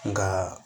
Nka